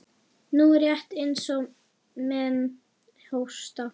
Nú, rétt eins og menn hósta.